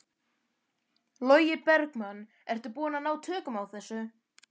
Logi Bergmann: Ertu búinn að ná tökum á þessu?